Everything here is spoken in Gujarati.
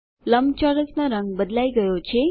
લંબચોરસનો રંગ બદલાઈ ગયો છે